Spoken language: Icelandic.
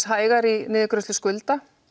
hægar í niðurgreiðslu skulda